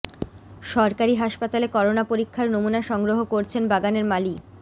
সরকারি হাসপাতালে করোনা পরীক্ষার নমুনা সংগ্রহ করছেন বাগানের মালি